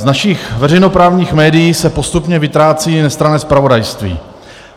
Z našich veřejnoprávních médií se postupně vytrácí nestranné zpravodajství.